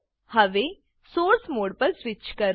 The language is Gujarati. હવે સોર્સ સોર્સ મોડ પર સ્વીચ કરો